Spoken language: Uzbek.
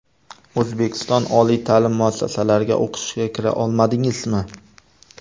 O‘zbekiston oliy ta’lim muassasalariga o‘qishga kira olmadingizmi?